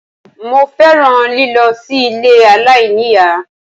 Mo fẹ́ràn lílọ sí ilé aláìníìyá